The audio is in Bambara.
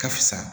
Ka fisa